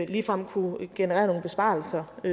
ligefrem kunne generere nogle besparelser og